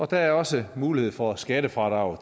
der er også mulighed for skattefradrag